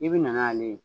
I bi na n'ale ye